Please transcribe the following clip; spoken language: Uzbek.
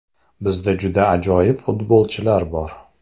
Bizda juda ajoyib futbolchilar bor.